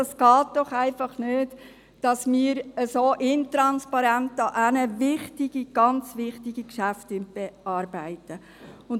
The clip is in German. Es geht doch einfach nicht, dass wir wichtige, sehr wichtige Geschäfte dermassen intransparent bearbeiten.